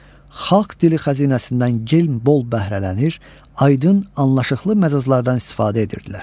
xalq dili xəzinəsindən gen bol bəhrələnir, aydın, anlaşıqlı məcazlardan istifadə edirdilər.